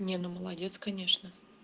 не ну молодец конечно